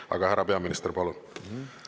Aga härra peaminister, palun!